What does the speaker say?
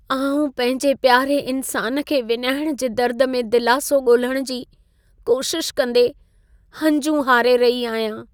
आउं पंहिंजे प्यारे इन्सान खे विञाइण जे दर्द में दिलासो ॻोल्हण जी कोशिश कंदे हंजूं हारे रही आहियां।